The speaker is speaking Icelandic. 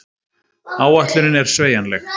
Áætlunin er sveigjanleg